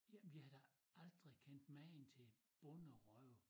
Vi vi havde da aldrig kendt magen til bonderøve